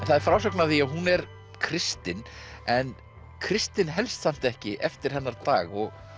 það er frásögn af því að hún er kristin en kristnin helst samt ekki eftir hennar dag og